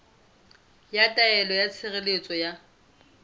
ya taelo ya tshireletso ya